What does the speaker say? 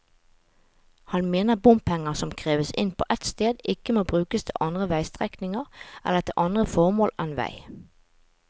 Han mener bompenger som kreves inn på et sted, ikke må brukes til andre veistrekninger eller til andre formål enn vei.